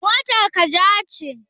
Motar ka ja ce?